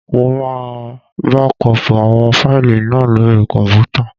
Mo máa bákọọ̀pù àwọn fáìlì náà lóri kọ̀m̀pútà.